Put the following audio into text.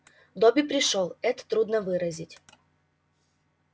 добби пришёл это трудно выразить